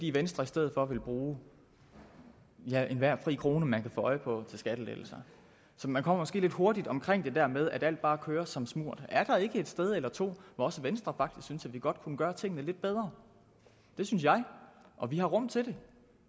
i venstre i stedet for vil bruge enhver fri krone man kan få øje på til skattelettelser så man kommer måske lidt hurtigt omkring det der med at alt bare kører som smurt er der ikke et sted eller to hvor også venstre synes at vi godt kunne gøre tingene lidt bedre det synes jeg og vi har rum til det